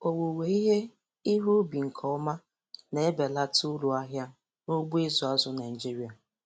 Owuwe ihe ihe ubi nke ọma na-ebelata uru ahịa n'ugbo ịzụ azụ̀ Naịjiria.